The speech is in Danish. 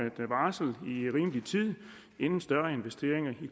et varsel i en rimelig tid inden større investeringer i